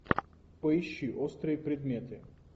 поищи острые предметы